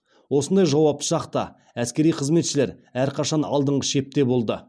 осындай жауапты шақта әскери қызметшілер әрқашан алдыңғы шепте болды